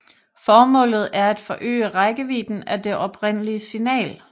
Formålet er at forøge rækkevidden af det oprindelige signal